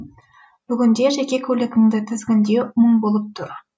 бүгінде жеке көлігіңді тізгіндеу мұң болып тұр